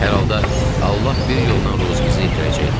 Hər halda Allah bir yoldan ruzimizi yetirəcəkdi.